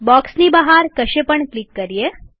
બોક્સની બહાર કશે પણ ક્લિક કરીએ